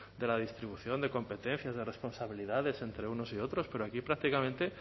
de la distribución de competencias de responsabilidades entre unos y otros pero aquí prácticamente